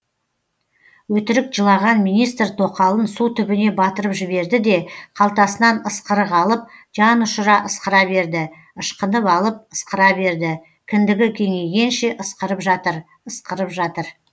өтірік жылаған министр тоқалын су түбіне батырып жіберді де қалтасынан ысқырық алып жанұшыра ысқыра берді ышқынып алып ысқыра берді кіндігі кеңейгенше ысқырып жатыр ысқырып жатыр